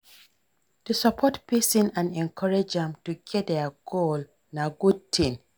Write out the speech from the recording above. To support pesin and encourage am to get im goal na good ting.